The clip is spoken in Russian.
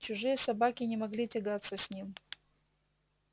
чужие собаки не могли тягаться с ним